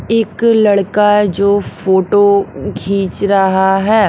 एक लड़का जो फोटो खींच रहा है।